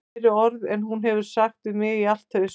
Fleiri orð en hún hefur sagt við mig í allt haust